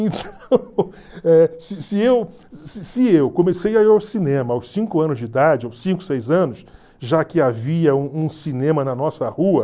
Então, eh se se eu se se eu comecei a ir ao cinema aos cinco anos de idade, aos cinco, seis anos, já que havia um cinema na nossa rua...